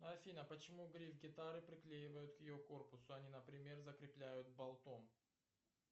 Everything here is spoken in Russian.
афина почему гриф гитары приклеивают к ее корпусу а не например закрепляют болтом